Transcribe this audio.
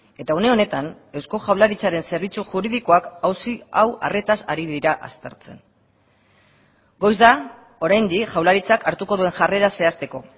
eta une honetan eusko jaurlaritzaren zerbitzu juridikoak auzi hau arretaz ari dira aztertzen goiz da oraindik jaurlaritzak hartuko duen jarrera zehazteko